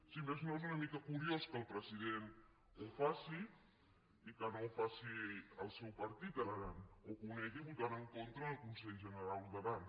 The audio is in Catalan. si més no és una mica curiós que el president ho faci i que no ho faci el seu partit a l’aran o que ho negui votant en contra en el conselh generau d’aran